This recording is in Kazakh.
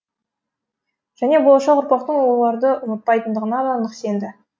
және болашақ ұрпақтың оларды ұмытпайтындығына да нық сенді